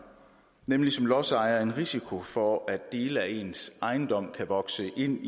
nemlig som lodsejer en risiko for at dele af ens ejendom kan vokse ind